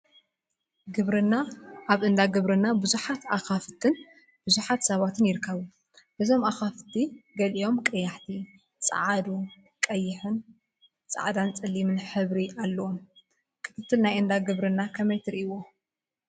ግብርና አብ እንዳ ግብርና ቡዙሓት አካፍትን ቡዙሓት ሰባት ይርከቡ፡፡ እዞም አካፍት ገሊኦም ቀያሕቲ፣ ፃዓዱ፣ ቀይሕን ፃዕዳን ፀሊምን ሕብሪ አለዎም፡፡ ክትትል ናይ እንዳ ግብርና ከመይ ትሪኢይዎ?